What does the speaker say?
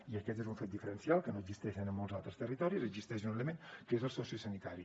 i aquest és un fet diferencial que no existeix en molts altres territoris existeix un element que és el sociosanitari